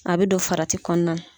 A bɛ don farati kɔnɔna.